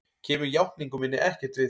Kemur játningu minni ekkert við.